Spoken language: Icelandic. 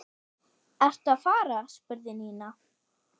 Ertu að fara? spurði Nína.